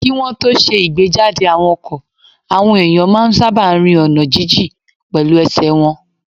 Kí wọ́n tó ṣe ìgbéjáde àwọn ọkọ̀, àwọn èèyàn máa n sáábà rin ọ̀nà jínjìn pẹ̀lú ẹsẹ̀ wọn